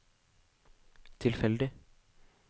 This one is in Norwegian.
tilfeldig